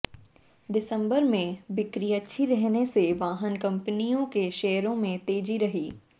दिसंबर में बिक्री अच्छी रहने से वाहन कंपनियों के शेयरों में तेजी रही